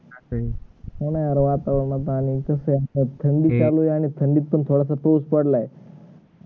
नाही रे आता येईना झालय कस थंडीत चालू झालय थंडीच पण थोडस तेज चडलाय आणि